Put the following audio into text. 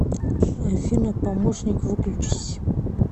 афина помощник выключись